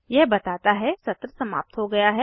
यह बताता है सत्र समाप्त हो गया है